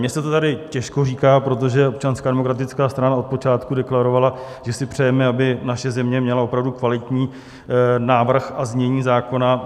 Mně se to tady těžko říká, protože Občanská demokratická strana od počátku deklarovala, že si přejeme, aby naše země měla opravdu kvalitní návrh a znění zákona.